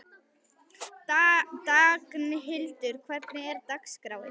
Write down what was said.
Magnhildur, hvernig er dagskráin?